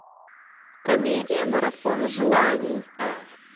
комедия марафон желаний